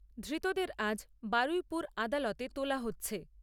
ধৃতদের আজ বারুইপুর আদালতে তোলা হচ্ছে।